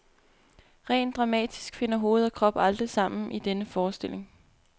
Rent dramatisk finder hoved og krop aldrig sammen i denne forestilling.